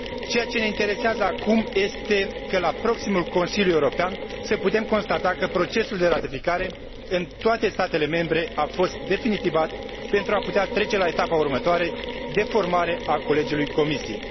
Ceea ce ne interesează acum este ca la proximul Consiliu European să putem constata că procesul de ratificare, în toate statele membre, a fost definitivat pentru a putea trece la etapa următoare de formare a Colegiului Comisiei.